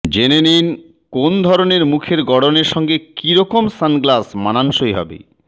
জেনে নিন কোন ধরনের মুখের গড়নের সঙ্গে কী রকম সানগ্লাস মানানসই হবে